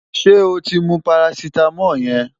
Ṣé o ti mú parasítámọ̀ yẹn?